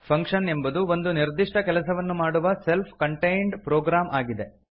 function ಎಂಬುದು ಒಂದು ನಿರ್ದಿಷ್ಟ ಕೆಲಸವನ್ನು ಮಾಡುವ ಸೆಲ್ಫ್ ಕಂಟೇಂಡ್ ಪ್ರೊಗ್ರಾಮ್ ಆಗಿದೆ